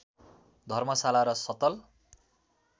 धर्मशाला र सतल